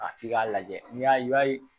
A f'i k'a lajɛ n'i y'a ye i b'a ye